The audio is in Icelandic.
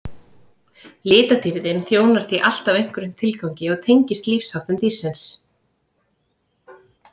Litadýrðin þjónar því alltaf einhverjum tilgangi og tengist lífsháttum dýrsins.